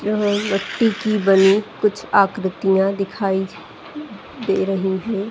यहाँ मट्टी की बनी कुछ आकृतियाँ दिखाई दे रही हैं।